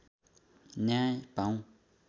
न्याय पाऊँ